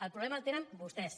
el problema el tenen vostès